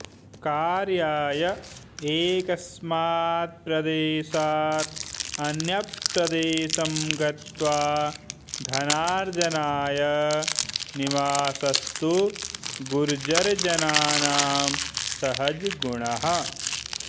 कार्याय एकस्मात् प्रदेशात् अन्यप्रदेशं गत्वा धनार्जनाय निवासस्तु गुर्जरजनानां सहजगुणः